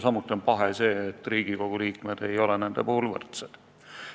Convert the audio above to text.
Samuti on paha see, et Riigikogu liikmed ei ole nende puhul võrdsed.